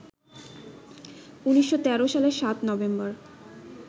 ১৯১৩ সালের ৭ নভেম্বর